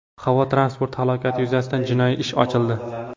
Havo transporti halokati yuzasidan jinoiy ish ochildi.